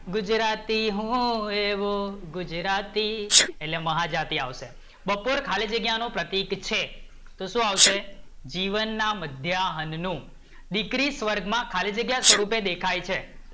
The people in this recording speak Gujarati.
ગુજરાતી હું, એવો હું ગુજરાતી, એટલે મહાજાતિ આવશે, બપોર ખાલી જગ્યા નો પ્રતિક છે તો શું આવશે? જીવન ના મધ્યાહ્ન નું, દીકરી સ્વર્ગ માં ખાલી જગ્યા નુ સ્વરૂપ દેખાય છે